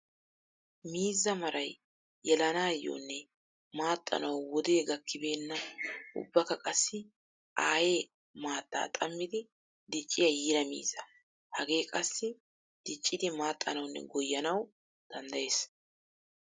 Miizza maray yelannayonne maaxxanawu wode gakkibeenna ubbakka qassi aaye maata xammiddi dicciya yiira miizza. Hage qassi dicciddi maaxanawunne goyannawu danddayes.